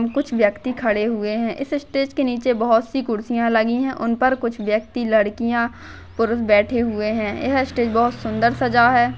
कुछ व्यक्ति खड़े हुये है इस स्टेज के नीचे बहुत सी कुर्सियां लगी है उनपर कुछ व्यक्ति लड़किया पुरुष बैठे हुये है यह स्टेज बहुत सुंदर सजा है।